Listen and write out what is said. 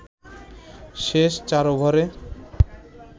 শেষ ৪ ওভারে